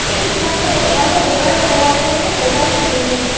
এই দোকানখনত ৱাল ত বগা ৰং কৰা আছে আৰু ইয়াত বগা লাইট ও জ্বলি আছে।